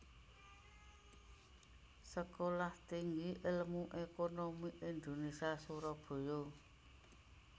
Sekolah Tinggi Ilmu Ekonomi Indonésia Surabaya